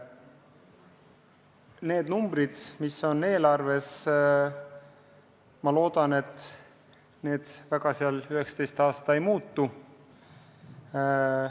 Need numbrid, mis eelarves on, loodetavasti 2019. aastal eriti ei muutu.